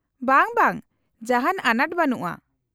-ᱵᱟᱝ, ᱵᱟᱝ, ᱡᱟᱦᱟᱸᱱ ᱟᱱᱟᱴ ᱵᱟᱱᱩᱜᱼᱟ ᱾